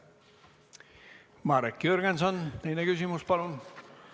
Marek Jürgenson, teine küsimus palun!